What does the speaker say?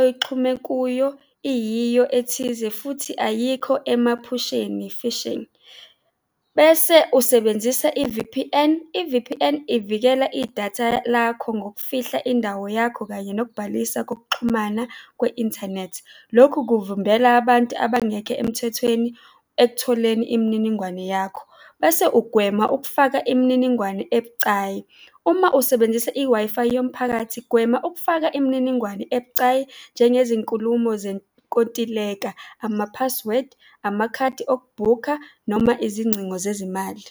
oyixhume kuyo iyiyo ethize, futhi ayikho emaphusheni, phishing, bese usebenzisa i-V_P_N. I-V_P_N ivikela idatha lakho ngokufihla indawo yakho kanye nokubhalisa kokuxhumana kwe-inthanethi. Lokhu kuvimbela abantu abangekho emthethweni ekutholeni imininingwane yakho, bese ugwema ukufaka imininingwane ebucayi. Uma usebenzisa i-Wi-Fi yomphakathi, gwema ukufaka imininingwane ebucayi njengezinkulumo zenkontileka, amaphasiwedi, amakhadi okubhukha noma izingcingo zezimali.